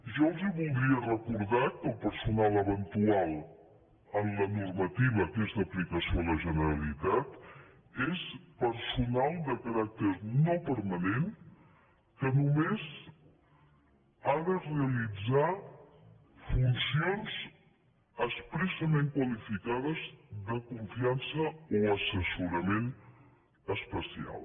jo els voldria recordar que el personal eventual en la normativa que és d’aplicació a la generalitat és personal de caràcter no permanent que només ha de realitzar funcions expressament qualificades de confiança o assessorament especial